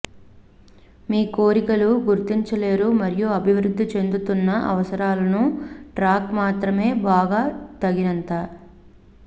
మీ కోరికలు గుర్తించలేరు మరియు అభివృద్ధి చెందుతున్న అవసరాలకు ట్రాక్ మాత్రమే బాగా తగినంత